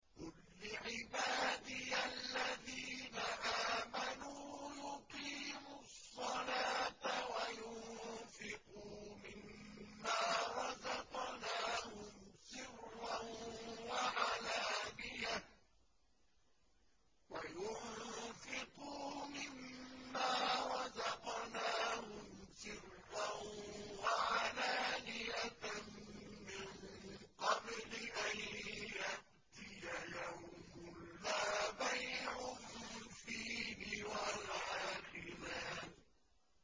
قُل لِّعِبَادِيَ الَّذِينَ آمَنُوا يُقِيمُوا الصَّلَاةَ وَيُنفِقُوا مِمَّا رَزَقْنَاهُمْ سِرًّا وَعَلَانِيَةً مِّن قَبْلِ أَن يَأْتِيَ يَوْمٌ لَّا بَيْعٌ فِيهِ وَلَا خِلَالٌ